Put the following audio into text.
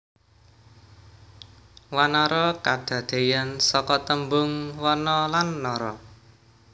Wanara kadadeyan saka tembung wana lan nara